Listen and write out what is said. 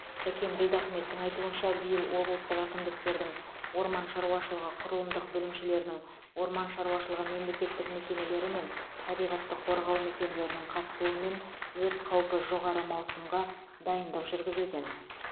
сәкен ділдахметтің айтуынша биыл облыстық әкімдіктердің орман шаруашылығы құрылымдық бөлімшелерінің орман шаруашылығы мемлекеттік мекемелері мен табиғатты қорғау мекемелерінің қатысуымен өрт қаупі жоғары маусымға дайындық жүргізілген